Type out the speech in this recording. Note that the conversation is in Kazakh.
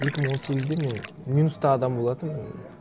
екі мың он сегізде мен минусты адам болатынмын